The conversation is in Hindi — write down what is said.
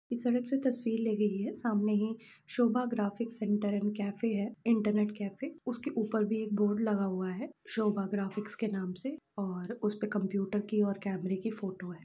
इस सड़क से तस्वीर ली गयी है सामने ही Shobha graphics centre and cafe है इंटरनेट कैफे | उसके ऊपर भी एक बोर्ड लगा हुआ है शोभा ग्राफिक्स के नाम से और उसपे कंप्यूटर की और कैमरे की फ़ोटो है।